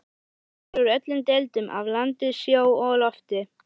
Þeir eru úr öllum deildum, af landi, sjó og lofti.